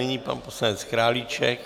Nyní pan poslanec Králíček.